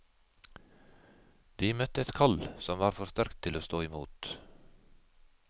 De møtte et kall som var for sterkt til å stå imot.